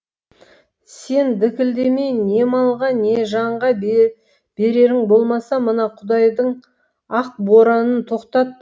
сен дікілдемей не малға не жанға берерің болмаса мына құдайдың ақ боранын тоқтат